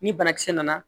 Ni banakisɛ nana